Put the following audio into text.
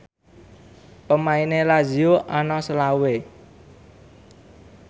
pemaine Lazio ana selawe